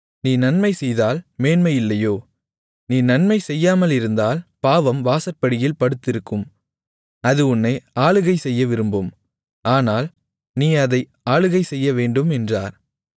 நீ நன்மைசெய்தால் மேன்மை இல்லையோ நீ நன்மை செய்யாமலிருந்தால் பாவம் வாசற்படியில் படுத்திருக்கும் அது உன்னை ஆளுகை செய்ய விரும்பும் ஆனால் நீ அதை ஆளுகை செய்யவேண்டும் என்றார்